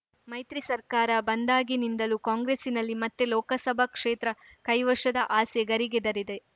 ಮೈತ್ರಿ ಸರ್ಕಾರ ಬಂದಾಗಿನಿಂದಲೂ ಕಾಂಗ್ರೆಸ್ಸಿನಲ್ಲಿ ಮತ್ತೆ ಲೋಕಸಭಾ ಕ್ಷೇತ್ರ ಕೈವಶದ ಆಸೆ ಗರಿಗೆದರಿದೆ